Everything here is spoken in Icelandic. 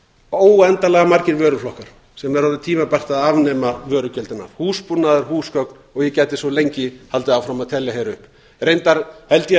óendanlega margir vöruflokkar sem er orðið tímabært að afnema vörugjöldin af húsbúnað húsgögn og ég gæti svo lengi haldið áfram að telja hér upp reyndar held ég að